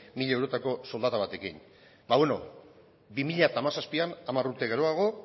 mila eurotako soldata batekin ba beno bi mila hamazazpian hamar urte geroago